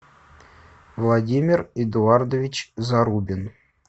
владимир эдуардович зарубин